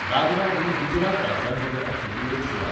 दादरा ही गुजरात राज्यांभीतर आशिल्ली एक सुवात.